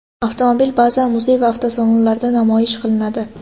Avtomobil ba’zan muzey va avtosalonlarda namoyish qilinadi.